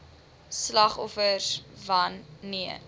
slagoffers wan neer